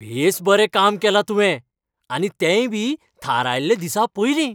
बेस बरें काम केलां तुवें आनी तेंयबी थारायल्ले दिसापयलीं.